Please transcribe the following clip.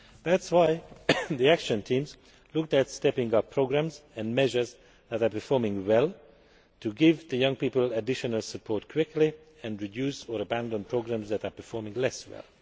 That is why the Action Teams looked at stepping up programmes and measures that are performing well to give young people additional support quickly, and reduce or abandon programmes that are performing less well.